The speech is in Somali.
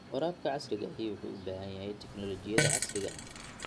Waraabka casriga ahi wuxuu u baahan yahay tignoolajiyada casriga ah.